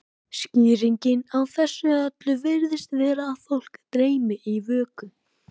skýringin á þessu öllu virðist vera að fólk dreymi í vöku